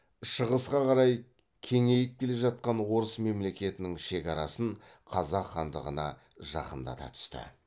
шығысқа қарай кеңейіп келе жатқан орыс мемлекетінің шекарасын қазақ хандығына жақындата түсті